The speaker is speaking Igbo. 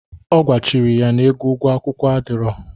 Ọ gwachiri ya na ego ụgwo akwụkwọ adịrọ.